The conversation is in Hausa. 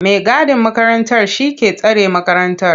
mai gadin makarantar shi ke tsare makarantar.